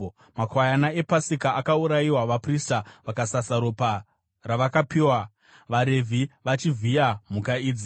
Makwayana ePasika akaurayiwa, vaprista vakasasa ropa ravakapiwa, vaRevhi vachivhiya mhuka idzi.